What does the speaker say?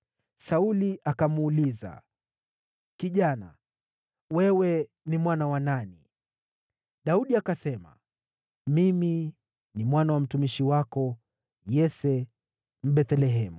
Sauli akamuuliza, “Kijana, wewe ni mwana wa nani?” Daudi akasema, “Mimi ni mwana wa mtumishi wako Yese wa Bethlehemu.”